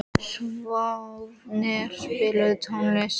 Sváfnir, spilaðu tónlist.